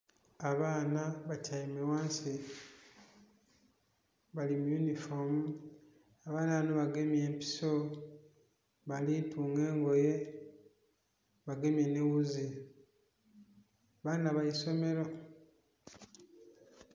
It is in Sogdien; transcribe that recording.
Abaana batyaime ghansi bali mu yunhifoomu abaana bano bagemye empiso bali tunga engoye bagemye n'ewuuzi, baana ba isomero.